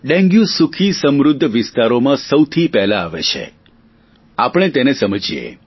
dengue સુખી સમૃધ્ધ વિસ્તારોમાં સૌથી પહેલા આવે છે અને આથી તેને આપણે સમજીએ